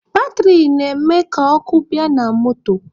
Batịrị na-eme ka ọkụ bịa na moto